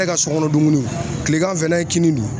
Ne ka sokɔnɔ dumuniw kilegan fɛ n'an ye kini dun